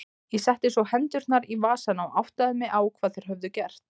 Ég setti svo hendurnar í vasana og áttaði mig á hvað þeir höfðu gert.